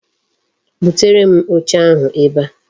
Butere m oche ahu ebe a